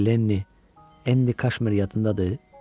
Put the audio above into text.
Lenni Endi Kaşmiri yatındadır?